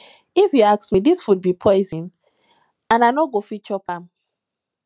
if you ask me dis food be poison and i no go fit chop am